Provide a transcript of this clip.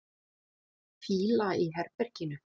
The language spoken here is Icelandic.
Fýla í herberginu.